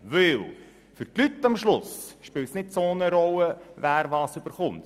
Denn für die Leute spielt es am Schluss keine grosse Rolle, wer was bekommt.